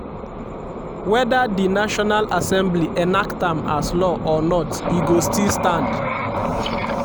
weda di national assembly enact am as law or not e go still stand.